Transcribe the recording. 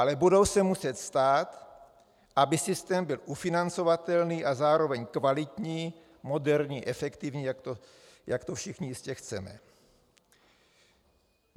Ale budou se muset stát, aby systém byl ufinancovatelný a zároveň kvalitní, moderní, efektivní, jak to všichni jistě chceme.